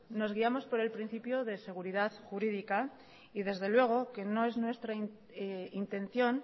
nos guiamos por el principio de seguridad jurídica y desde luego que no es nuestra intención